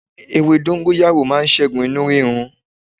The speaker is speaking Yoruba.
Ewé dóngóyárò màa ṣẹ́gun inú rírun